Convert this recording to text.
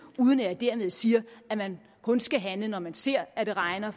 uden at jeg dermed siger at man kun skal handle når man ser at det regner